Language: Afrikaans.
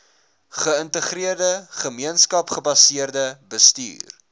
geïntegreerde gemeenskapsgebaseerde bestuur